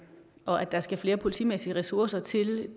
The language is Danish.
og at der skal flere politimæssige ressourcer til